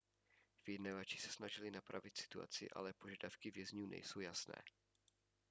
vyjednavači se snažili napravit situaci ale požadavky vězňů nejsou jasné